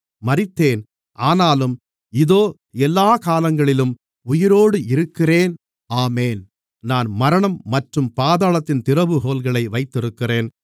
மரித்தேன் ஆனாலும் இதோ எல்லாக் காலங்களிலும் உயிரோடு இருக்கிறேன் ஆமென் நான் மரணம் மற்றும் பாதாளத்தின் திறவுகோல்களை வைத்திருக்கிறேன்